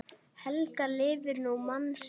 Helga lifir nú mann sinn.